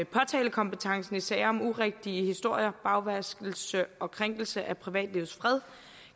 påtalekompetencen i sager om urigtige historier bagvaskelse og krænkelse af privatlivets fred